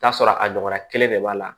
Taa sɔrɔ a ɲɔgɔnna kelen de b'a la